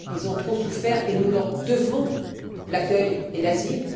Ils ont trop souffert et nous leur devons l'accueil et l'asile.